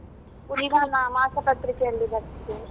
ಮಾಸಪತ್ರಿಕೆಯಲ್ಲಿ ಬರ್ತದೆ.